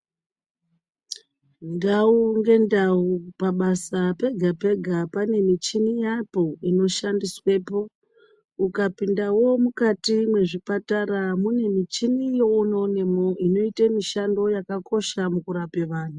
Ndau ngendau pabasa pega-pega panemichini yapo inoshandiswepo. Ukapindavo mukati mwezvipatara mune michini yeunoonemwo inoite mishando yakakosha mukurape vantu.